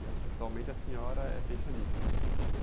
E atu, atualmente a senhora é pensionista, a senhora me disse, né?